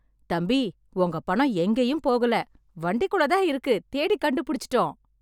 தம்பி, உங்க பணம் எங்கேயும் போகல , வண்டிக்குள்ள தான் இருக்கு, தேடி கண்டுபுடிச்சுட்டோம்!